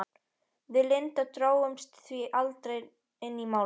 Við Linda drógumst því aldrei inn í Málið.